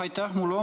Aitäh!